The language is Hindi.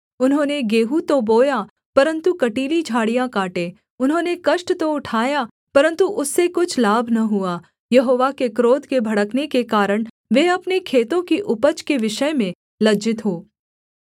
उन्होंने गेहूँ तो बोया परन्तु कँटीली झाड़ियाँ काटे उन्होंने कष्ट तो उठाया परन्तु उससे कुछ लाभ न हुआ यहोवा के क्रोध के भड़कने के कारण वे अपने खेतों की उपज के विषय में लज्जित हो